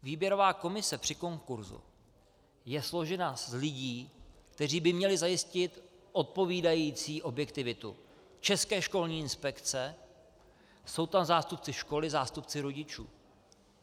Výběrová komise při konkurzu je složena z lidí, kteří by měli zajistit odpovídající objektivitu - České školní inspekce, jsou tam zástupci školy, zástupci rodičů.